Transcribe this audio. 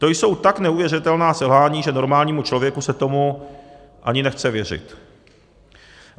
To jsou tak neuvěřitelná selhání, že normálnímu člověku se tomu ani nechce věřit.